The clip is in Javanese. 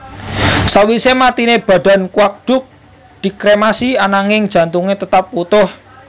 Sawise matiné badan Quang Duc dikremasi ananging jantungé tetap wutuh